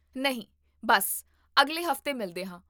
ਨਹੀਂ, ਬੱਸ, ਅਗਲੇ ਹਫ਼ਤੇ ਮਿਲਦੇ ਹਾਂ